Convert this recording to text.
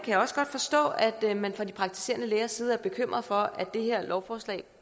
jeg også godt forstå at man fra de praktiserende lægers side er bekymret for at det her lovforslag